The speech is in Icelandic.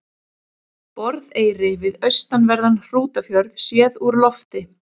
Borðeyri við austanverðan Hrútafjörð séð úr lofti.